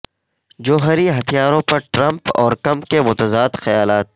جوہری ہتھیاروں پر ٹرمپ اور کم کے متضاد خیالات